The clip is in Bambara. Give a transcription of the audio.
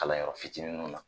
Kalan yɔrɔ fitiniw na